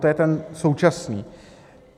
To je ten současný.